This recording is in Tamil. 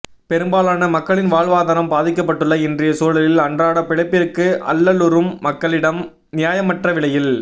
பெரும்பாலான மக்களின் வாழ்வாதாரம் பாதிக்கப்பட்டுள்ள இன்றைய சூழலில் அன்றாட பிழைப்பிற்கு அல்லலுறும் மக்களிடம் நியாயமற்ற விலையில்